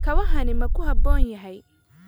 Kabahani ma ku habboon yahay?